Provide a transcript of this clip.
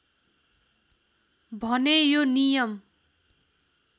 भने यो नियम